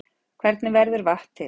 Hvernig verður vatn til?